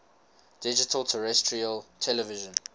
digital terrestrial television